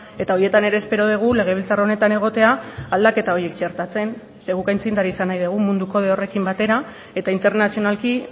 eta horietan ere espero dugu legebiltzar honetan egotea aldaketa horiek txertatzen ze guk aitzindari izan nahi dugu mundu kode horrekin batera eta internazionalki